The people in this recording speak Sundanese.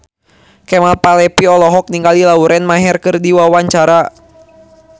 Kemal Palevi olohok ningali Lauren Maher keur diwawancara